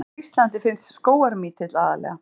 Hvar á Íslandi finnst skógarmítill aðallega?